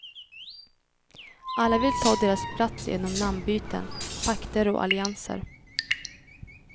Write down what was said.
Alla vill ta deras plats genom namnbyten, pakter och allianser.